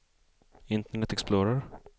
internet explorer